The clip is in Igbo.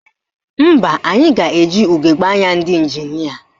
Mba, anyị ga-eji ugegbe anya ndị ịnjinịa